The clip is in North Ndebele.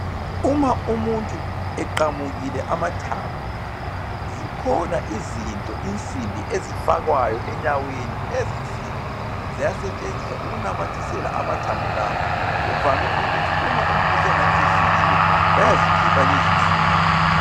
Uma umuntu eqamukile amathambo, zikhona izinto, insimbi, ezifakwayo enyaweni lezinsimbi ziyasetshenziswa ukunamathisela amathambo lawa. Kuvame ukuthi uma umuntu esengani sesilile bayazikhipha lezinsimbi.